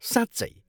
साँच्चै!?